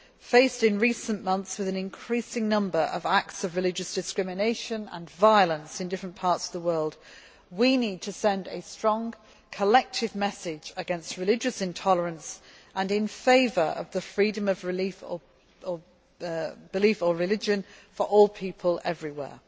Faced in recent months with an increasing number of acts of religious discrimination and violence in different parts of the world, we need to send a strong, collective message against religious intolerance and in favour of the freedom of religion or belief for all people everywhere.